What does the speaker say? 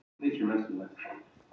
Ástvin, hvað heitir þú fullu nafni?